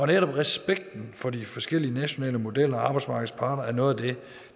netop respekten for de forskellige nationale modeller og for arbejdsmarkedets parter er noget af det